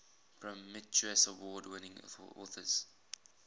prometheus award winning authors